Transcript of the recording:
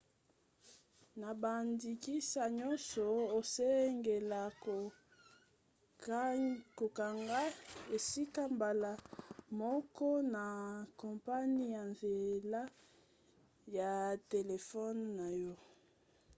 na bandakisa nyonso osengeli kokanga esika mbala moko na kompani na nzela ya telefone na yo